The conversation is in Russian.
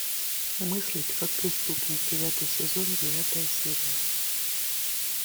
мыслить как преступник девятый сезон девятая серия